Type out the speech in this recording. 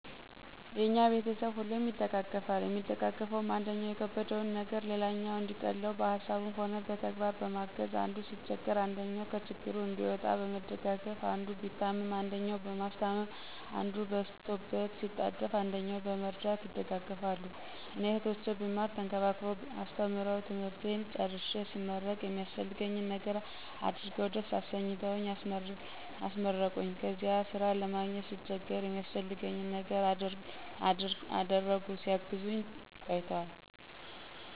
የኛ ቤተሰብ ሁሌም ይደጋገፋል የሚደጋገፈዉም, አንደኛዉ የከበደዉን ነገር ሌላኛዉ እንዲቀለዉ በሀሳብም ሆነ በተግባር በማገዝ፣ አንዱ ሲቸገር አንደኛዉ ከችግሩ እንዲወጣ በመደጋገፍ፣ አንዱ ቢታመም አንደኛዉ በማስታመም፣ አንዱ በስቶበት ቢጣደፍ አንደኛዉ በመርዳት ይደጋገፋሉ። እኔ "እህቶቼ ብማር ተንከባክበዉ አስተምረዉ ትምህርቴን ጨርሴ ስመረቅ የሚያስፈልገኝን ነገር አድርገዉ ደስ አሰኝተዉ አስመረቁኝ"ከዚያ ስራ ለማግኘት ስቸገር የሚያስፈልገኝን ነገር እያደረጉ ሲያግዙኝ ቆይተዋል።